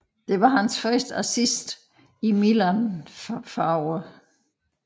Det var hans første assist i Milan farverne